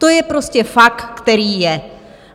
To je prostě fakt, který je.